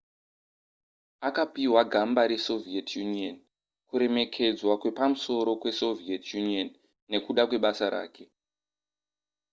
akapihwa gamba resoviet union kuremekedzwa kwepamusoro kwesoviet union nekuda kwebasa rake